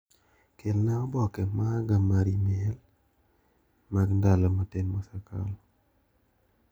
Kelna oboke maga mar imel mag ndalo matin mosekalo.